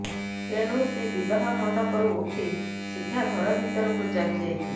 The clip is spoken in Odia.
ତେଣୁ ସେ ବିବାହ ମଣ୍ଡପରୁ ଉଠି ସିଧା ଘରଭିତରକୁ ଚାଲି ଯାଇଥିଲେ